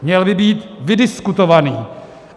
Měl by být vydiskutovaný.